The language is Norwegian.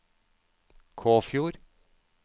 Kåfjord